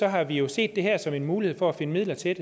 har vi jo set det her som en mulighed for at finde midler til